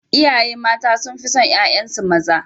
Iyaye mata sun fi son ƴaƴansu maza.